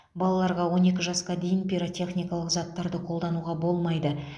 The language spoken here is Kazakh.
балаларға он екі жасқа дейін пиротехникалық заттарды қолдануға болмайды